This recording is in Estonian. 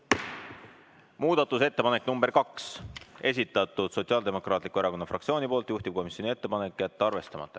Muudatusettepanek nr 2, esitatud Sotsiaaldemokraatliku Erakonna fraktsiooni poolt, juhtivkomisjoni ettepanek on jätta see arvestamata.